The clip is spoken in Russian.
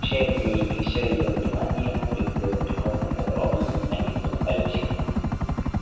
вся вни и всё её внимание было приковано к огромному механизму на колёсиках